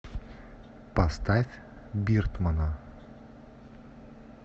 поставь биртмана